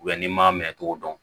n'i m'a minɛ cogo dɔn